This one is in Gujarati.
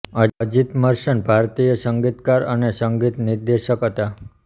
અજિત મર્ચન્ટ ભારતીય સંગીતકાર અને સંગીત નિર્દેશક હતા